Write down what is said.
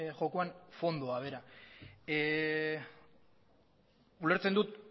jokoan fondoa bera ulertzen dut